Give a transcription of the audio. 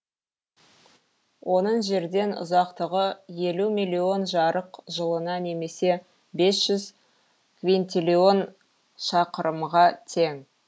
оның жерден ұзақтығы елу миллион жарық жылына немесе бес жүз квинтиллион шақырымға тең